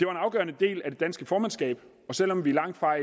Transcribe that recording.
afgørende del af det danske formandskab og selv om vi langtfra